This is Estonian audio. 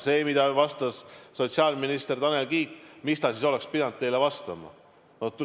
See, mida vastas sotsiaalminister Tanel Kiik – mis ta siis oleks pidanud teile vastama?